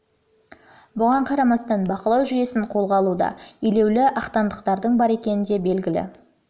бұған қарамастан бақылау жүйесін қолға алуда елеулі ақтаңдақтардың бар екендігі де белгілі